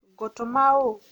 ngũtũma ũ?